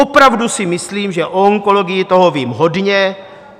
Opravdu si myslím, že o onkologii toho vím hodně.